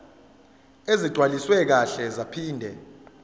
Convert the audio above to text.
ezigcwaliswe kahle zaphinde